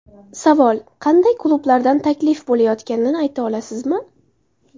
Savol: Qanday klublardan taklif bo‘layotganini ayta olasizmi?